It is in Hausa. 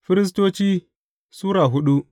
Firistoci Sura hudu